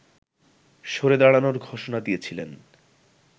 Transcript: সরে দাড়ানোর ঘোষনা দিয়েছিলেন